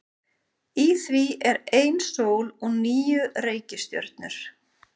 Í því er ein sól og níu reikistjörnur.